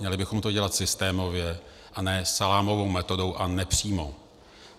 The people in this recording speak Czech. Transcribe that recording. Měli bychom to dělat systémově, a ne salámovou metodou a nepřímo.